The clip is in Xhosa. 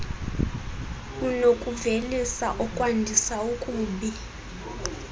unokuvelisa okwandisa okubi